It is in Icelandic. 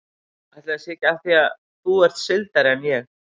Ætli það sé ekki af því að þú ert sigldari en ég.